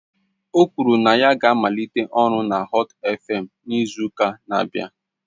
O kwuru na ya ga-amalite ọrụ na Họt eFem n'izu ụka na-abịa.